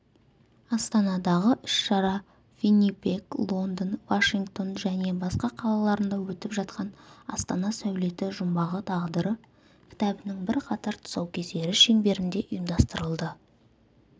астанадағы іс-шара виннипег лондон вашингтон және басқа қалаларында өтіп жатқан астана сәулеті жұмбағы тағдыры кітабының бірқатар тұсаукесері шеңберінде ұйымдастырылды